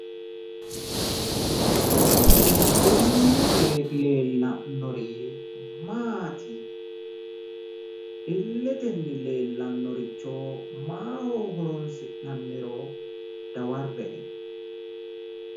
Kuni illete leellannori Maati? Illete leellannoricho maaho horonsi'nanniro dawarre''e.